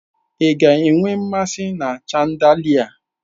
Ị ka nwee nmasị na chandalia?